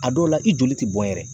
A dɔw la i joli te bɔn yɛrɛ